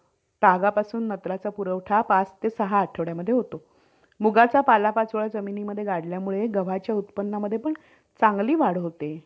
आणि telecommunication जस मी आधी पण म्हणलो कि नुसतं call वर किंवा phone वर बोलण्या इतपत राहिलेलं नाहीए आता त्याच्या मध्ये नवीन नवीन संशोधन आलेले आहेत.